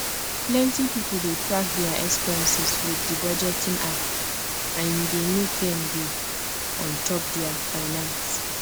plenty people dey track their expenses with the budgeting app and he dey make them dey on top their finaces